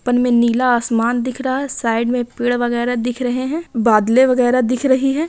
ऊपर में नीला आसमान दिख रहा | साइड में पेड़ वगैरा दिख रही हैं बादले वगैरा दिख रही हैं ।